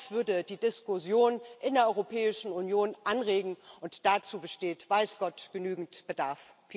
Das würde die Diskussion in der Europäischen Union anregen, und dazu besteht weiß Gott genügend Bedarf.